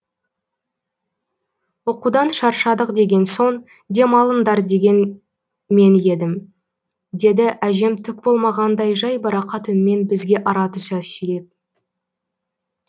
оқудан шаршадық деген соң дем алыңдар деген мен едім деді әжем түк болмағандай жайбарақат үнмен бізге ара түса сөйлеп